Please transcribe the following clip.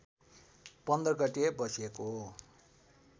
१५ गते बसेको